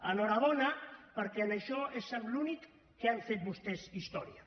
enhorabona perquè en això és en l’únic que han fet vostès història